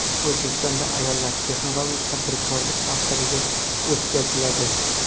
O‘zbekistonda ayollar texnologik tadbirkorlik haftaligi o‘tkaziladi.